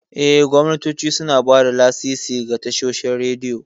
Eh, gwamnatoci suna ba da lasisi ga tashoshin rediyo.